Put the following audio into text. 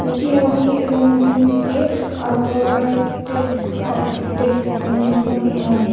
scooty ho hi a rawng dum te a var te a uk te an ni hlawm ani.